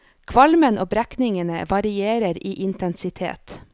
Kvalmen og brekningene varierer i intensitet.